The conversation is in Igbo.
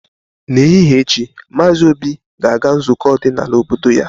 N'ehihie echi, Maazị Obi ga-aga nzukọ ọdịnala obodo ya.